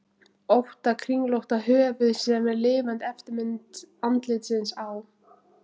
ótta kringlótta höfuð sem er lifandi eftirmynd andlitsins á